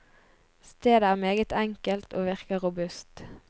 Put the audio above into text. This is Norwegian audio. Stedet er meget enkelt og virker robust.